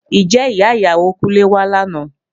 Ǹjẹ́ ìyá ìyàwó Kúnlé wá lánàá?